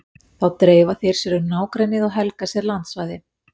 Þá dreifa þeir sér um nágrennið og helga sér landsvæði.